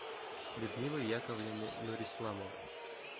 людмилы яковлевны нурисламовой